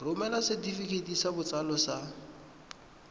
romela setefikeiti sa botsalo sa